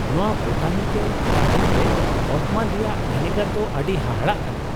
ᱱᱚᱶᱟ botanical garden ᱨᱮ ᱚᱛᱢᱚᱱ ᱨᱮᱭᱟᱜ ᱵᱷᱮᱱᱮᱜᱟᱨ ᱫᱚ ᱟᱹᱰᱤ ᱦᱟᱦᱟᱲᱟᱜ ᱠᱟᱱᱟ ᱾